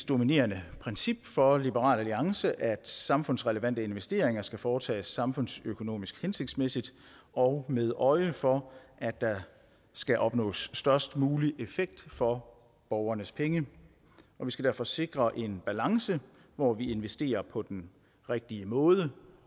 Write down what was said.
dominerende princip for liberal alliance at samfundsrelevante investeringer skal foretages samfundsøkonomisk hensigtsmæssigt og med øje for at der skal opnås størst mulig effekt for borgernes penge og vi skal derfor sikre en balance hvor vi investerer på den rigtige måde